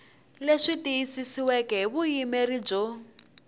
leswi tiyisisiweke hi vuyimeri byo